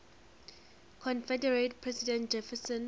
confederate president jefferson